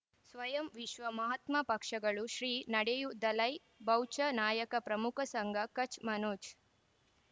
ಸ್ವಯಂ ವಿಶ್ವ ಮಹಾತ್ಮ ಪಕ್ಷಗಳು ಶ್ರೀ ನಡೆಯೂ ದಲೈ ಬೌವ್ಚ ನಾಯಕ ಪ್ರಮುಖ ಸಂಘ ಕಚ್ ಮನೋಜ್